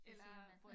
Altså man